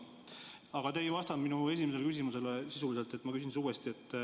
Aga te ei vastanud minu esimesele küsimusele sisuliselt, nii et ma küsin uuesti.